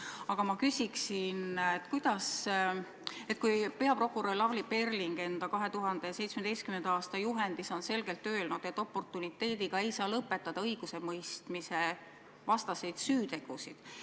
Aga ma küsin selle kohta, et peaprokurör Lavly Perling on enda 2017. aasta juhendis selgelt öelnud, et oportuniteediga ei saa lõpetada õigusemõistmisevastaseid süütegusid.